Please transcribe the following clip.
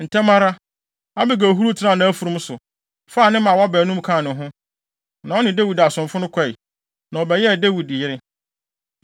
Ntɛm ara, Abigail huruw tenaa nʼafurum so, faa ne mmaawa baanum kaa ne ho, na ɔne Dawid asomfo no kɔe, na ɔbɛyɛɛ Dawid yere.